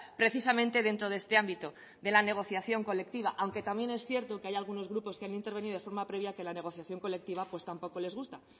precisamente dentro de este ámbito de la negociación colectiva aunque también es cierto que hay algunos grupos que han intervenido de forma previa que la negociación colectiva pues tampoco les gusta